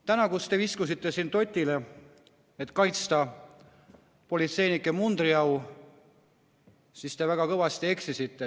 Täna, kui te viskusite siin dzotile, et kaitsta politseinike mundriau, siis te väga kõvasti eksisite.